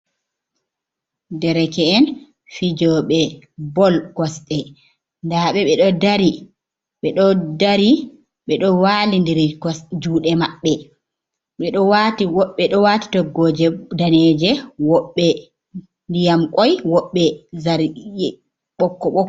Dereke'en fijoɓe bol kosɗe nda ɓe ɓe ɗo dari ɓe ɗo walidiri juɗe maɓɓe, woɓɓe do wati toggoje daneje, woɓɓe ndyam koi, woɓbe zargina, ɓokko ɓokko.